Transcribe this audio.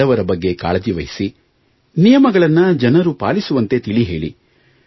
ಬಡವರ ಬಗ್ಗೆ ಕಾಳಜಿವಹಿಸಿ ನಿಯಮಗಳನ್ನು ಜನರು ಪಾಲಿಸುವಂತೆ ತಿಳಿ ಹೇಳಿ